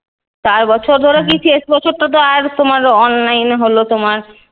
চার বছর ধরে কি? শেষ বছরটা তো আর তোমার online এ হলো তোমার।